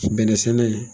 Bɛnɛ sɛnɛ